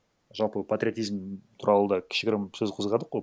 жалпы патриотизм туралы да кішігірім сөз қозғадық қой